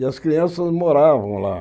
E as crianças moravam lá.